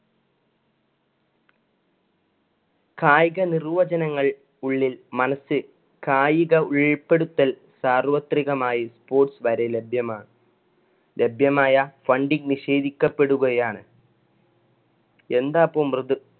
കായിക നിർവചനങ്ങൾ ഉള്ളിൽ മനസ്സിൽ കായിക ഉൾപെടുത്തല്‍ സാർവത്രികമായി sports വരെ ലഭ്യമാണ്. ലഭ്യമായ funding നിഷേധിക്കപെടുകയാണ് എന്താപ്പോ മൃതു~